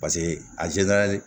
Paseke a